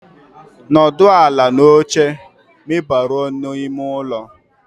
N'ọdụ ala n'oche ma ị baruo n'ime ụlọ